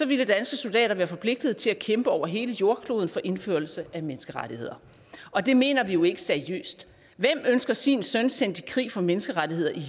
ville danske soldater være forpligtet til at kæmpe over hele jordkloden for indførelse af menneskerettigheder og det mener vi jo ikke seriøst hvem ønsker sin søn sendt i krig for menneskerettigheder i